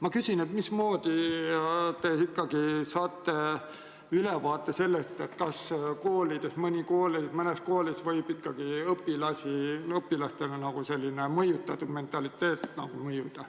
Ma küsin, mismoodi te ikkagi saate ülevaate sellest, kas mõnes koolis võib õpilastele selline mõjutatud mentaliteet mõjuda.